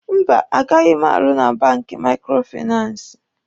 Mba, agaghi m arụ na banki maikrofinansi.